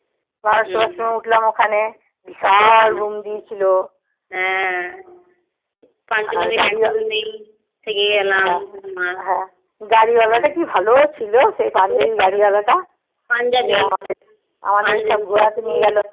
গাড়িওয়ালা টা কি ভালো ছিল সেই পাঞ্জাবি গাড়িওয়ালাটা আমাদের সব জায়গায় ঘোরাতে নিয়ে গেলো